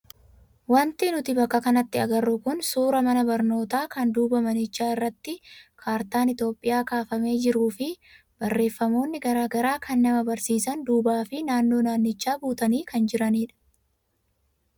Wanti nuti bakka kanatti agarru kun suuraa mana barnootaa kan duuba manichaa irratti kaartaan Itoophiyaa kaafamee jiruu fi barreeffamoonni garaagaraa kan nama barsiisan duubaa fi naannoo manichaa guutanii kan jiranidha.